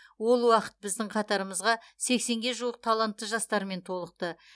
ол уақытта біздің қатарымызға сексенге жуық талантты жастармен толықты